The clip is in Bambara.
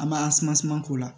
An b'an k'o la